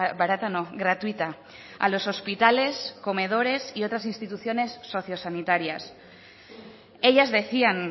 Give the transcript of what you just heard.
barata no gratuita a los hospitales comedores y otras instituciones socio sanitarias ellas decían